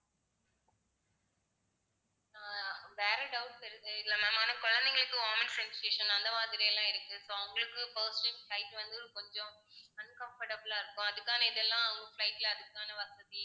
அஹ் வேற doubt இருக்கு இல்ல ma'am ஆனா குழந்தைகளுக்கு vomit sensation அந்த மாதிரி எல்லாம் இருக்கு so அவங்களுக்கு cfirst time flight வந்து கொஞ்சம் uncomfortable லா இருக்கும் அதுக்கான இதெல்லாம் flight ல அதுக்கான வசதி